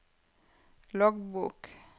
loggbok